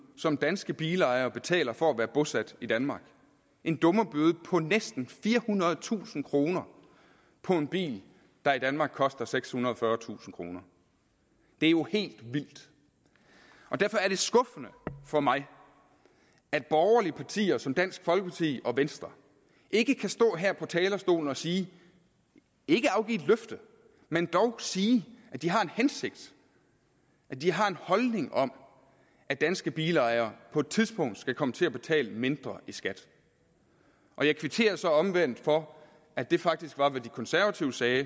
som danske bilejere betaler for at være bosat i danmark en dummebøde på næsten firehundredetusind kroner for en bil der i danmark koster sekshundrede og fyrretusind kroner det er jo helt vildt og derfor er det skuffende for mig at borgerlige partier som dansk folkeparti og venstre ikke kan stå her på talerstolen og sige ikke afgive et løfte men dog sige at de har en hensigt at de har en holdning om at danske bilejere på et tidspunkt skal komme til at betale mindre i skat jeg kvitterer så omvendt for at det faktisk var hvad de konservative sagde